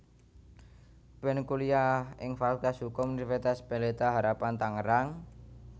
Ben kuliah ing Fakultas Hukum Universitas Pelita Harapan Tangerang